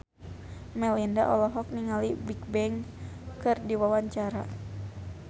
Melinda olohok ningali Bigbang keur diwawancara